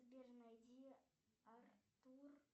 сбер найди артур